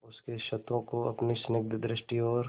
उसके क्षतों को अपनी स्निग्ध दृष्टि और